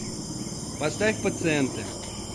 поставь пациенты